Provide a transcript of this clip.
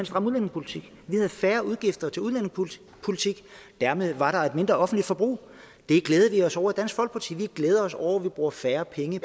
stram udlændingepolitik vi havde færre udgifter til udlændingepolitikken og dermed var der et mindre offentligt forbrug det glædede vi os over i dansk folkeparti vi glæder os over at vi bruger færre penge